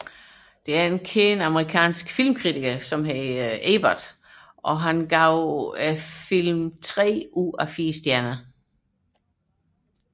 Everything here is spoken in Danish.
Den kende amerikanske filmkritiker Roger Ebert gav den tre af fire stjerner